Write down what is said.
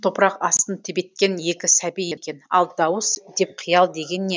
топырақ астын тебеткен екі сәби екен ал дауыс деп қиял деген не